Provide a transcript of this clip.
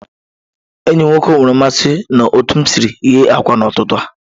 Enyi m nwoke nwere mmasị na otu m siri ghe akwa n'ụtụtụ a